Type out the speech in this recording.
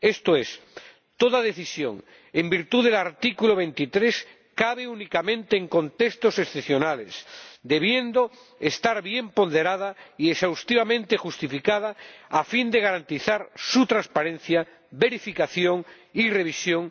Esto es, toda decisión en virtud del artículo 23 cabe únicamente en contextos excepcionales, debiendo estar bien ponderada y exhaustivamente justificada, a fin de garantizar su transparencia, verificación y revisión.